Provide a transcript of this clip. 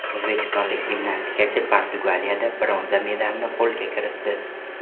O‘zbekistonlik gimnastikachi Portugaliyada bronza medalni qo‘lga kiritdi.